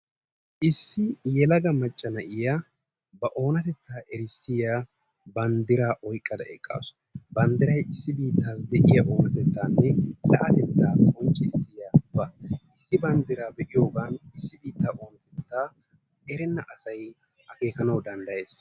Issi yelaga macca na'iya ba oonatetta qonccissiya banddira oyqqada eqqasu. Banddiray issi biittasi deiya oonatettane la'atetta qonccissiyaba. Issi banddiray beiyogan issi oonatetta erena asay akekanawu danddayees.